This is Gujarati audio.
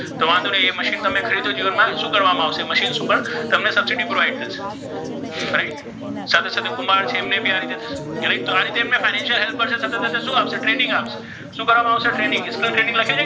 તો વાન્ધો નહી ઍ મશીન તમે ખરીદો જીવન મા શુ કરવામા આવશે તમને ઍ મશીન ઉપર સબસીડી provide કરવામા આવશે right સાથે સાથે કુમ્ભાર છે તેમને ભી આ રીતે right તો આ રીતે તેમને financial help કરશૅ સાથે સાથે તેમને શુ આપશે training આપશે શુ કરવામા આવશે training .